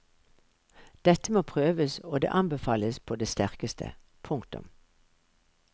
Dette må prøves og det anbefales på det sterkeste. punktum